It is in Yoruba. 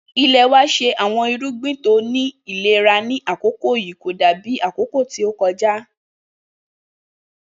Ilẹ wa ṣe awọn irugbin ti o ni ilera ni akoko yii ko dabi akoko to kọja